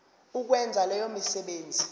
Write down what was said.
ukwenza leyo misebenzi